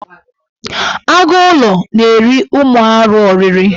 Agụụlọ na-eri ụmụ arụ ọrịrị.